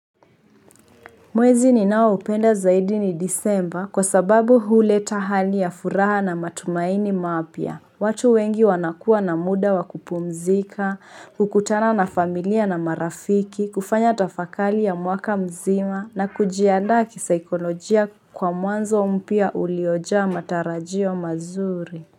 Mwezi ninaoupenda zaidi ni Disemba kwa sababu huleta hali ya furaha na matumaini mapya. Watu wengi wanakua na muda wa kupumzika, kukutana na familia na marafiki, kufanya tafakari ya mwaka mzima na kujianda kisaikolojia kwa mwanzo mpya uliojaa matarajio mazuri.